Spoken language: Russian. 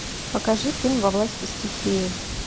покажи фильм во власти стихии